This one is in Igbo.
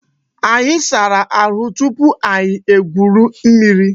Anyị sara ahụ tupu anyị egwuri mmiri